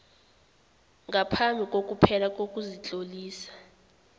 ngaphambi kokuphela kokuzitlolisa